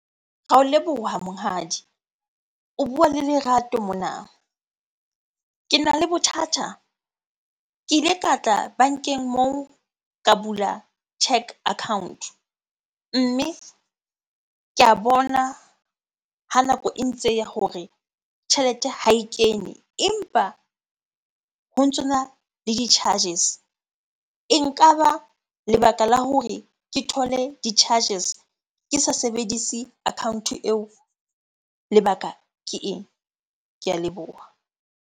Ra o leboha monghadi. O bua le lerato mona, kena le bothata. Ke ile ka tla bankeng moo ka bula cheque account. Mme ke a bona ha nako e ntse e ya hore tjhelete ha e kene empa ho ntsona le di-charges. E nkaba lebaka la hore ke thole di-charges ke sa sebedise account-o eo lebaka ke eng? Ke a leboha.